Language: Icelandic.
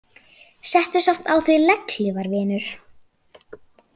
Settu samt á þig legghlífar vinur.